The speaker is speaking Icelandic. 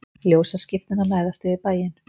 Ljósaskiptin að læðast yfir bæinn.